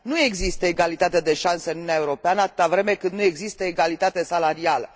Nu există egalitate de șanse în Uniunea Europeană atâta vreme cât nu există egalitate salarială.